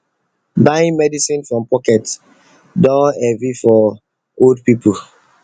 buying medicine from pocket don dey heavy for old people